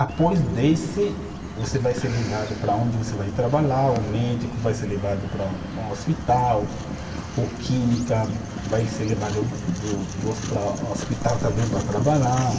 Após desse, você vai ser levado para onde você vai trabalhar, o médico vai ser levado para um hospital, o química vai ser levado do do, para o hospital também para trabalhar.